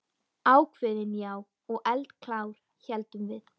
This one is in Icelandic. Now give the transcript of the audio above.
Ákveðin, já, og eldklár, héldum við.